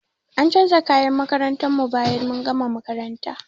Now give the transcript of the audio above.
An canja kayan makarantar mu bayan mun gama makarantar.